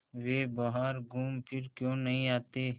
वे बाहर घूमफिर क्यों नहीं आते